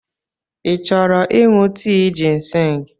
Ị chọrọ ịṅụ tii jịnsịng?